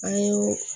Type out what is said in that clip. An ye